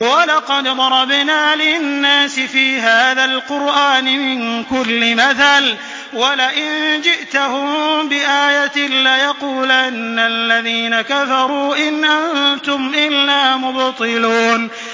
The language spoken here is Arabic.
وَلَقَدْ ضَرَبْنَا لِلنَّاسِ فِي هَٰذَا الْقُرْآنِ مِن كُلِّ مَثَلٍ ۚ وَلَئِن جِئْتَهُم بِآيَةٍ لَّيَقُولَنَّ الَّذِينَ كَفَرُوا إِنْ أَنتُمْ إِلَّا مُبْطِلُونَ